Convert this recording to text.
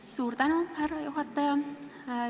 Suur tänu, härra juhataja!